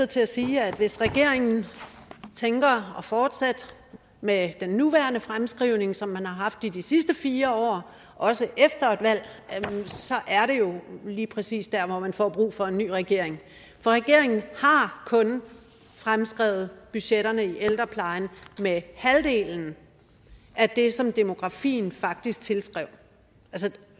til at sige at hvis regeringen påtænker at fortsætte med den nuværende fremskrivning som man har haft i de sidste fire år også efter et valg så er det jo lige præcis der hvor man får brug for en ny regering for regeringen har kun fremskrevet budgetterne i ældreplejen med halvdelen af det som demografien faktisk tilsiger